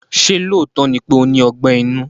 Ṣé lóòótọ́ ni pé ó ní Ọgbẹ́ inú?